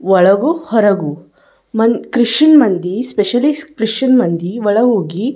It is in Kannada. ಒಳಗು ಹೊರಗು ಮನ್ ಕೃಷಿಯನ್ ಮಂದಿ ಸ್ಪೆಶಿಯಲ್ಲಿ ಕೃಷಿಯನ್ ಮಂದಿ ಒಳ ಹೋಗಿ --